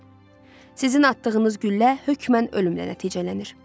Sizin atdığınız güllə hökmən ölümlə nəticələnir.